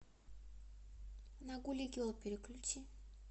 на гули герл переключи